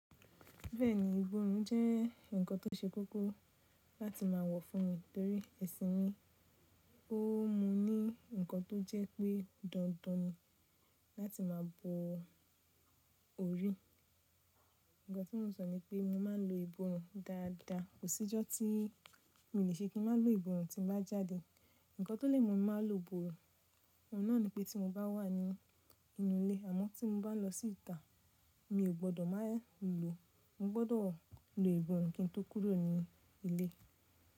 Bẹ́ẹ̀ni, ìbòrun jẹ́ ǹkan tó ṣe kókó láti máa wọ̀ fún mi torí ẹṣin mi ó mú ní ǹkan tó jẹ́ pé dandan ni láti máa bo orí. Ǹkan tí mo sọ ni pé mo máa ń lo ìbò irun dáadáa. Kò sí ọjọ́ tí mi ò le ṣe kí n má lo ìbò irun tí mo bá jáde. Ǹkan tó lè mú mi má lo ìbò irun, òun náà ni pé tí mo bá wà ní inú ilé àmọ́ tí mo bá lọ sí ìta mi ò gbọdọ̀ má lo. Mo gbọdọ̀ lo ìbò irun kí n tó kúrò ní ilé.